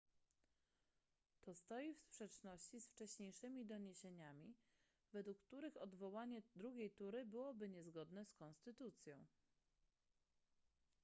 to stoi w sprzeczności z wcześniejszymi doniesieniami według których odwołanie drugiej tury byłoby niezgodne z konstytucją